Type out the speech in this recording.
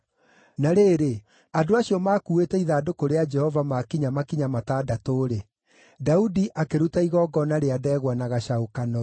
Na rĩrĩ, andũ acio maakuuĩte ithandũkũ rĩa Jehova maakinya makinya matandatũ-rĩ, Daudi akĩruta igongona rĩa ndegwa na gacaũ kanoru.